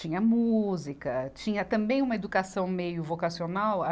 Tinha música, tinha também uma educação meio vocacional.